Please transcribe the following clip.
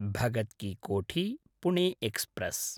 भगत् कि कोठी–पुणे एक्स्प्रेस्